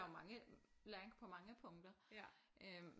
Er jo mange læring på mange punkter